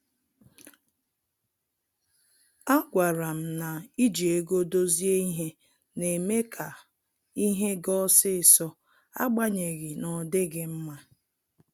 A gwara m na iji ego dozie ihe na-eme ka ihe ga osisọ, agbanyeghi n'odighi mma